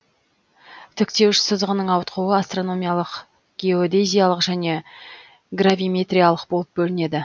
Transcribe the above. тіктеуіш сызығының ауытқуы астрономиялық геодезиялық және гравиметриялық болып бөлінеді